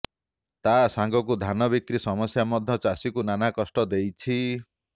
ତା ସାଙ୍ଗକୁ ଧାନ ବିକ୍ରି ସମସ୍ୟା ମଧ୍ୟ ଚାଷୀଙ୍କୁ ନାନା କଷ୍ଟ ଦେଇଛି